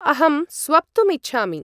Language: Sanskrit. अहम् स्वप्तुम् इच्छामि।